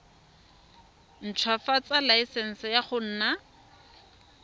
ntshwafatsa laesense ya go nna